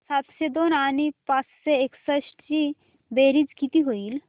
सातशे दोन आणि पाचशे एकसष्ट ची बेरीज किती होईल